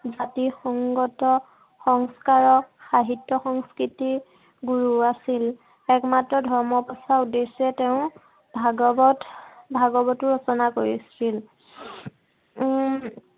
জাতি সংগত সংস্কাৰ, সাহিত্য় সংস্কৃতিৰ গুৰু আছিল। একমাত্ৰ ধৰ্ম প্ৰচাৰৰ উদ্দেশ্য়ে তেওঁ ভাগৱত, ভাগৱতো ৰচনা কৰিছিল। উম